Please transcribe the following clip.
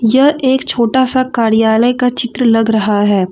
यह एक छोटा सा कार्यालय का चित्र लग रहा है।